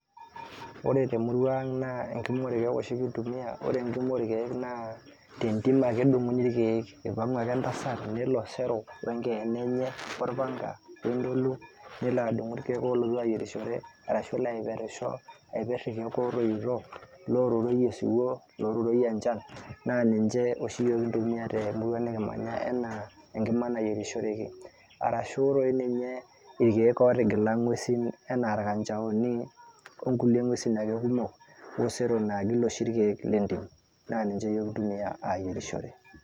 Ore te murrua ang naa enkima orkieek oshi kintumia . ore enkima orkiek naa tentim ake edunguni irkieek . ipangu ake entasat nelo sero wenkeene enye, orpanka ,wentolu ,nelo adungu irkieek olotu ayierishore . ashu nelo aiperisho, aiper irkiek otoito , loturoyie osiwuo, loturoyie enchan ,naa ninche oshi iyiook kintumia temurua nikimanya anaa enkima nayierishoreki, arashu doi ninye irkiek otigila ngwesin anaa irkanchaoni okulie ngwesin ake kumok.